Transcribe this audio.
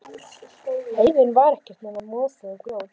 Heiðin var ekkert nema mosi og grjót.